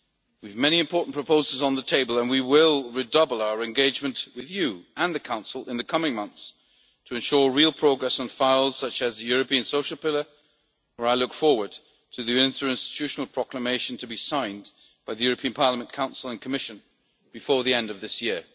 We have many important proposals on the table and we will redouble our engagement with you and the Council in the coming months to ensure real progress on measures such as the European Pillar of Social Rights, where I look forward to the interinstitutional proclamation to be signed by Parliament, the Council and the Commission before the end of this year.